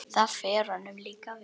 Það fer honum líka vel.